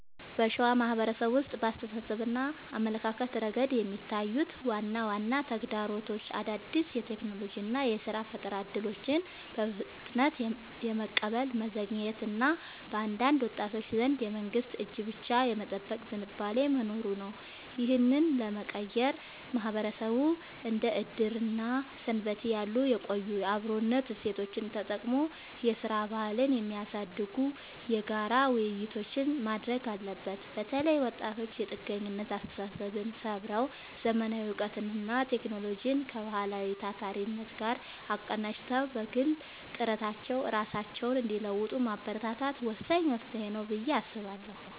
በሸዋ ማህበረሰብ ውስጥ በአስተሳሰብና አመለካከት ረገድ የሚታዩት ዋና ዋና ተግዳሮቶች አዳዲስ የቴክኖሎጂና የሥራ ፈጠራ እድሎችን በፍጥነት የመቀበል መዘግየት እና በአንዳንድ ወጣቶች ዘንድ የመንግስትን እጅ ብቻ የመጠበቅ ዝንባሌ መኖሩ ነው። ይህንን ለመቀየር ማህበረሰቡ እንደ ዕድርና ሰንበቴ ያሉ የቆዩ የአብሮነት እሴቶቹን ተጠቅሞ የሥራ ባህልን የሚያሳድጉ የጋራ ውይይቶችን ማድረግ አለበት። በተለይ ወጣቶች የጥገኝነት አስተሳሰብን ሰብረው: ዘመናዊ እውቀትንና ቴክኖሎጂን ከባህላዊው ታታሪነት ጋር አቀናጅተው በግል ጥረታቸው ራሳቸውን እንዲለውጡ ማበረታታት ወሳኝ መፍትሄ ነው ብዬ አስባለሁ።